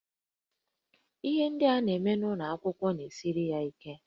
Ihe ndị a na-amụ n'ụlọ akwụkwọ na-esiri ya ike